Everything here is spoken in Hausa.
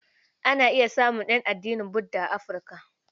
Ana iya samun ƴan addinin Budda a Afirka.